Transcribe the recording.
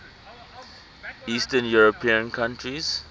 eastern european countries